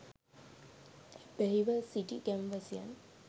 ඇබ්බැහිව සිටි ගම්වැසියන්